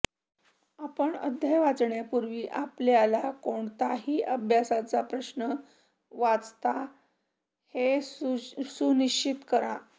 आपण अध्याय वाचण्यापूर्वी आपल्याला कोणताही अभ्यासाचा प्रश्न वाचता हे सुनिश्चित करा